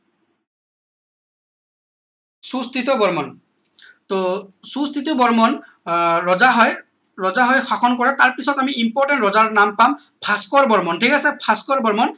সুস্থিত বৰ্মন টৌ সুস্থিত বৰ্মন আহ ৰজা হয় ৰজা হৈ শাসন কৰাত তাৰ পিছত আমি important ৰজাৰ নাম পাম ভাস্কৰ বৰ্মন ঠিক আছে ভাস্কৰ বৰ্মন